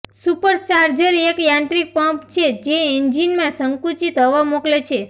supercharger એક યાંત્રિક pump છે જે એન્જિનમાં સંકુચિત હવા મોકલે છે